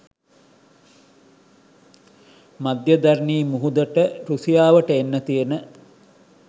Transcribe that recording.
මධ්‍යදරනී මුහුදට රුසියාවට එන්න තියෙන